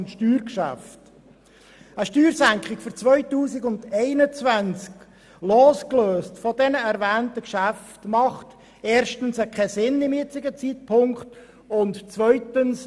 Eine Diskussion über eine Steuersenkung ab 2021, losgelöst von den erwähnten Geschäften, macht erstens zum jetzigen Zeitpunkt keinen Sinn.